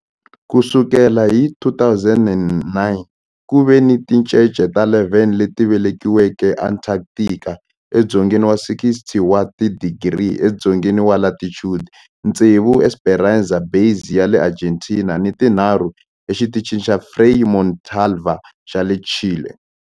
Ku sukela hi 2009, ku ve ni tincece ta 11 leti velekiweke eAntarctica, edzongeni wa 60 wa tidigri edzongeni wa latitude, tsevu eEsperanza Base ya le Argentina ni tinharhu eXitichini xa Frei Montalva xa le Chile.